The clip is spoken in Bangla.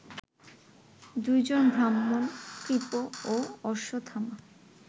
দুই জন ব্রাহ্মণ, কৃপ ও অশ্বত্থামা